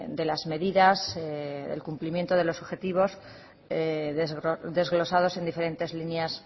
de las medidas el cumplimiento de los objetivos desglosados en diferentes líneas